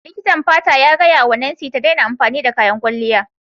Likitan fata ya gaya wa Nancy ta daina amfani da kayan kwalliya.